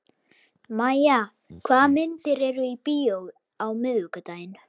Mæja, hvaða myndir eru í bíó á miðvikudaginn?